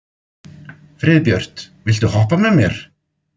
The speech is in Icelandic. Friðbjört, viltu hoppa með mér?